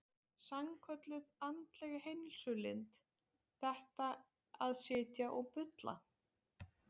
Sannkölluð andleg heilsulind, þetta að sitja og bulla.